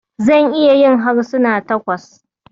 Zan iya yin harsuna takwas.